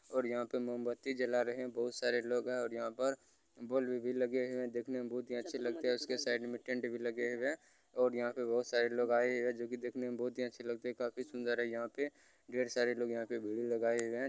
और यहाँ पे मोमबत्ती जला रहे है बहुत सारे लोग है और यहाँ पर बल्ब भी लगे हुए है देखने में बहुत ही अच्छे लगते है उसके साइड में टेंट भी लगे हुए है और यहाँ पे बहुत सारे लोग आये हुए है जो कि देखने में बहुत ही अच्छे लगते है काफी सुन्दर है यहाँ पे ढेर सारे लोग यहाँ पे भीड़ लगाए हुए है।